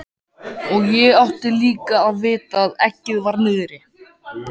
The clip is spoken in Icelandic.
Og ég átti líka að vita að eggið var niðri.